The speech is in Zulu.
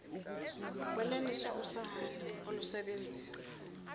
kwenaniswa usana olusebenzisa